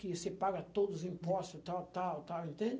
Que você paga todos os impostos, tal, tal, tal, entende?